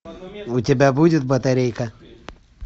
у тебя будет батарейка